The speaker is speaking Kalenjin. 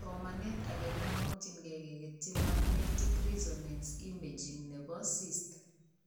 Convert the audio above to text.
Somanet ake komamokyinkee keketyi magnetic resonance imaging nebo cyst